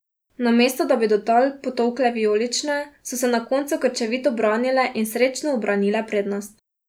Namesto, da bi do tal potolkle vijolične, so se na koncu krčevito branile in srečno ubranile prednost.